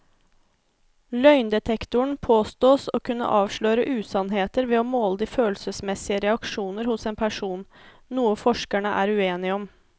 Løgndetektoren påstås å kunne avsløre usannheter ved å måle de følelsesmessige reaksjoner hos en person, noe forskerne er uenige om.